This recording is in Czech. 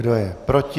Kdo je proti?